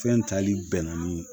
Fɛn tali bɛnani